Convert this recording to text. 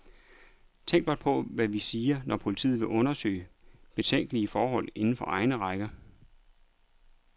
Tænk blot på, hvad vi siger, når politiet vil undersøge betænkelige forhold inden for egne rækker.